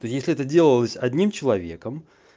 если это делалось одним человеком